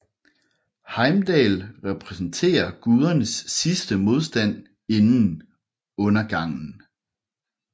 Heimdall repræsenterer gudernes sidste modstand inden undergangen